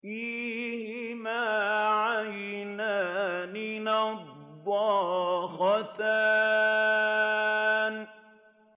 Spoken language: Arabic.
فِيهِمَا عَيْنَانِ نَضَّاخَتَانِ